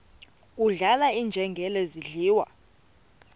kudlala iinjengele zidliwa